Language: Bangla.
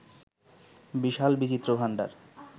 বিশাল বিচিত্র ভাণ্ডার